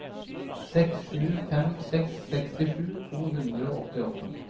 seks sju fem seks sekstisju to hundre og åttiåtte